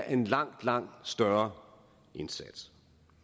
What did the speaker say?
en langt langt større indsats